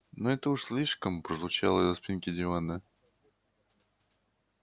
ну это уж слишком прозвучало из-за спинки дивана